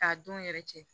K'a don yɛrɛ cɛ